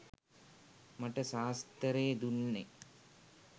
මට සාස්තරේ දුන්නෙ